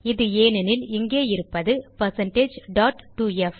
இது ஏனேனில் இங்கே இருப்பது 2f